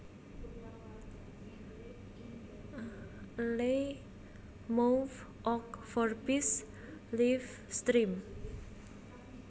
Le Mouv Ogg Vorbis Live Stream